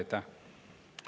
Aitäh!